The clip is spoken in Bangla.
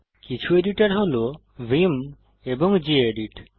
কিছু এডিটর হল ভিআইএম এবং গেদিত